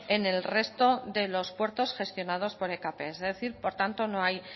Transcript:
en el resto de los puertos gestionados por ekp es decir por tanto no hay